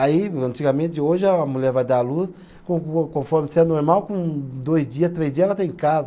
Aí, antigamente, hoje a mulher vai dar à luz con con conforme se é normal, com dois dias, três dias, ela está em casa.